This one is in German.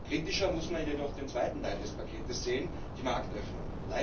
Kritischer muss man jedoch den zweiten Teil des Pakets sehen die Marktöffnung.